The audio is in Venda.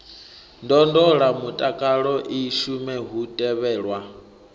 ndondolamutakalo i shume hu tevhelwa